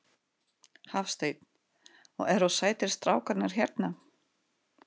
Hafsteinn: Og eru sætir strákarnir hérna?